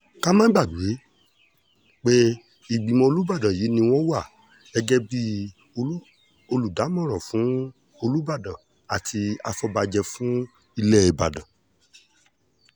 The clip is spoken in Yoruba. ká má gbàgbé pé ìgbìmọ̀ olùbàdàn yìí ni wọ́n wà gẹ́gẹ́ bíi olùdámọ̀ràn fún olùbàdàn àti àfọ̀bàjẹ́ fún ilẹ̀ ìbàdàn